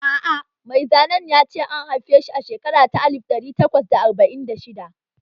A'a mai zanen ya ce an haife shi a shekara ta alif ɗari takwas da arba'in da shidda